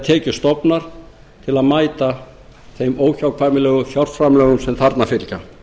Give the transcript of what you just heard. tekjustofnar til að mæta þeim óhjákvæmilegu fjárframlögum sem þarna fylgja